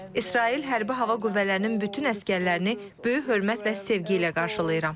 İsrail hərbi hava qüvvələrinin bütün əsgərlərini böyük hörmət və sevgi ilə qarşılayıram.